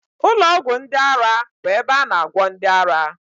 Ụlọ ọgwụ ndị ara bụ ebe a na agwọ ndị ara